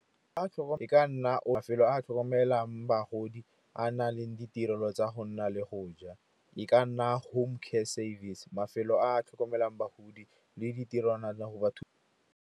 E ka nna mafelo a a tlhokomelang bagodi a na leng ditirelo tsa go nna le go ja. E ka nna home care service, mafelo a a tlhokomelang bagodi le ditirwana le go.